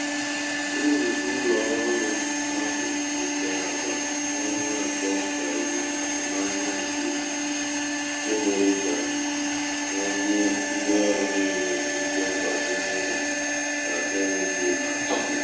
uru ụlọ ọrụ ahụ nwetara kwa ọnwa atọ karịrị atụmanya nke mere ka a a nye ndị ọrụ niile ụgwọ mgbakwunye n’enweghị atụ.